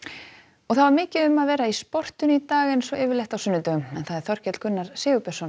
og það var mikið um að vera í sportinu í dag eins og yfirleitt á sunnudögum Þorkell Gunnar Sigurbjörnsson